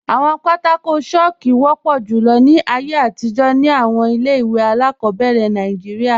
Awọn pátákò chalku wọpọ julọ ni ayé atijọ̀ ni awọn ilẹ̀-iwe aláàkọbẹ̀rẹ̀ Nàìjíríà.